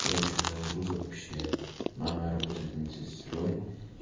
короче у моего друга вообще мама работает медсестрой